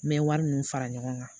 N bɛ wari ninnu fara ɲɔgɔn kan